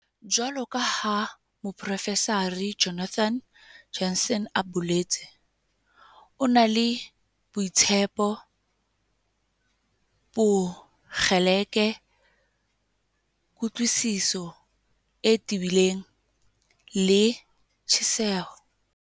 Jwaloka ha Moprofesara Jonathan Jansen a boletse, "O na le boitshepo, bokgeleke, kutlwisiso e tebileng le tjheseho."